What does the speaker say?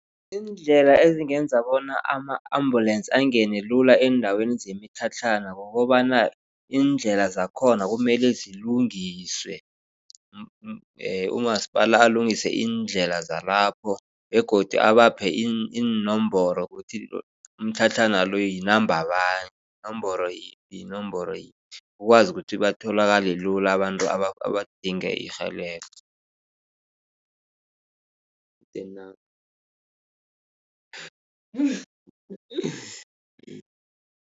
Iindlela ezingenza bona ama-ambulance angene lula eendaweni zemitlhatlhana. Kukobana iindlela zakhona kumelwe zilungiswe. Umasipala alungise iindlela zabo lapho begodu abaphe iinomboro ukuthi imitlhatlhana lo yinamba bani yinomboro yiphi. Ukwazi bona batholakale lula abantu abadinga irhelebho stand number